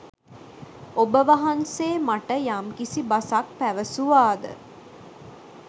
ඔබවහන්සේ මට යම්කිසි බසක් පැවසුවාද